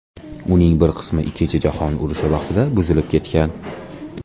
Uning bir qismi Ikkinchi jahon urushi vaqtida buzilib ketgan.